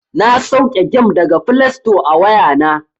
Na sauke gem daga flesto a wayana.